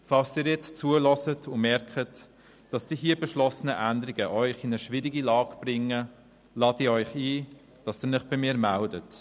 Falls Sie jetzt zuhören und merken, dass die hier beschlossenen Änderungen auch Sie in eine schwierige Lage bringen, lade ich Sie ein, sich bei mir zu melden.